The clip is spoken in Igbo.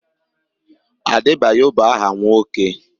Adebayo bụ áhà nwoke.